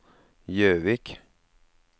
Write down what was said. Jøvik